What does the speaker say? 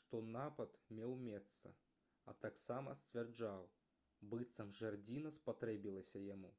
што напад меў месца а таксама сцвярджаў быццам жардзіна спатрэбілася яму